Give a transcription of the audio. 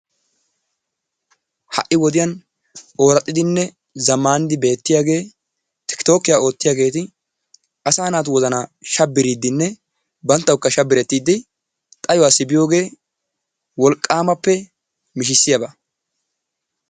Ha'i wodiyan ooraxxidinne zamaanidi beettiyaagee tiktookiya oottiyageeti asaa naatu wozzanaa shabiriidinne banttawukka shabirettiidi xayuwaassi biyoogee wolqqaamappe mishshissiyaaba.